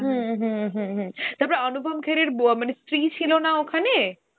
হম হম হম হম তারপর অনুপম খের এর ব~ স্ত্রী ছিল না ওখানে